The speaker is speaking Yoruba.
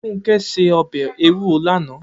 Funke sé òbè éwúró làná